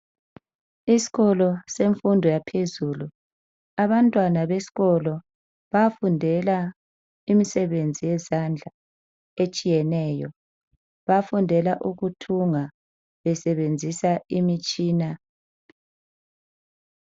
Isikolo semfundo ephezulu abantwana besikolo bayafundela imsebenzi yezandla etshiyeneyo bafundela ukuthunga besebenzisa imitshina.